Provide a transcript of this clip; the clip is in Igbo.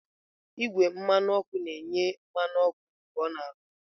Igwe mmanụ ọkụ na-enye mmanụ ọkụ mgbe ọ na-arụ ọrụ.